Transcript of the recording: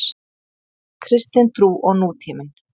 Kristin trú og nútíminn.